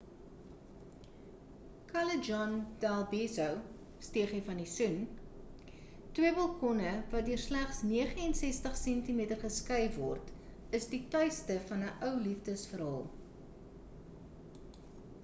callejon del beso stegie van die soen. twee balkonne wat deur slegs 69 sentimeter geskei word is die tuiste van ‘n ou liefdes-verhaal